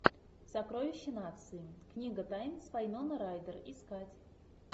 сокровище нации книга тайн с вайноной райдер искать